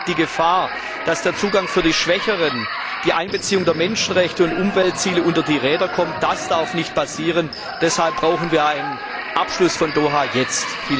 Hier besteht die Gefahr, dass der Zugang für die Schwächeren, die Einbeziehung der Menschenrechte und Umweltziele unter die Räder kommen. Das darf nicht passieren. Deshalb brauchen wir einen Abschluss der Doha Runde jetzt!